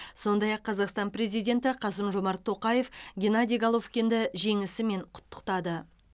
сондай ақ қазақстан президенті қасым жомарт тоқаев геннадий головкинді жеңісімен құттықтады